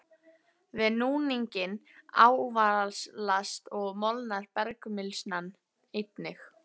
Við núninginn ávalast og molnar bergmylsnan einnig.